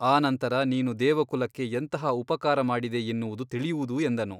ಆ ನಂತರ ನೀನು ದೇವಕುಲಕ್ಕೆ ಎಂತಹ ಉಪಕಾರ ಮಾಡಿದೆ ಎನ್ನುವುದು ತಿಳಿಯುವುದು ಎಂದನು.